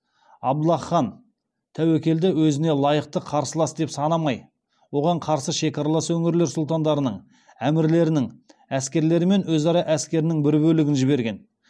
абдаллах хан тәуекелді өзіне лайықты қарсылас деп санамай оған қарсы шекаралас өңірлер сұлтандарының әмірлерінің әскерлері мен өз әскерінің бір бөлігін жіберген